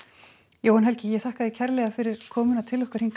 Jóhann Helgi ég þakka þér kærlega fyrir komuna